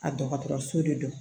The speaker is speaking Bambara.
A dɔgɔtɔrɔso de don